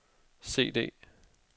CD